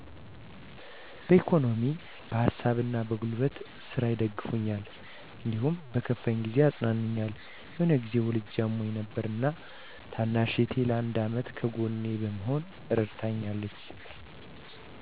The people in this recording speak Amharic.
በኢኮኖሚ በሀሳብና በጉልበት ስራ ይደግፉኛል። እንዲሁም በከፋኝ ጊዜ ያፅናኑኛል። የሆነ ጊዜ ወልጀ አሞኝ ነበር እና ታናሽ እህቴ ለአንድ አመት ከጎኔ በመሆን እረድታኛለች።